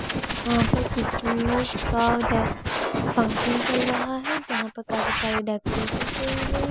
वहाँ पर क्रिसमस का डेक फंक्शन चल रहा है जहाँ पर काफी सारी डेकोरेशन किया हुई है।